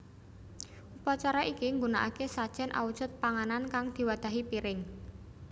Upacara iki nggunakake sajen awujud panganan kang diwadhahi piring